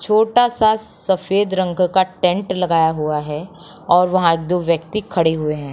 छोटा सा सफ़ेद रंग का टेंट लगाया हुआ है और वहाँ दो व्यक्ति खड़े हुए हैं।